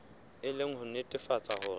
e le ho nnetefatsa hore